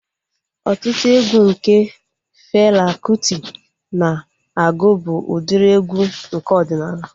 Ọtụtụ egwu nke Fela Kuti na-agụ bụ udiri egwu nke ọdịnala